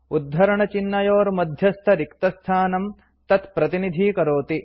उद्धरणचिह्नयोर्मध्यस्थरिक्तस्थानं तत्प्रतिनिधीकरोति